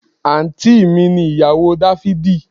Àǹtí mi ni ìyàwó dáfídì